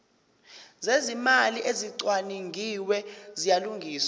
zezimali ezicwaningiwe ziyalungiswa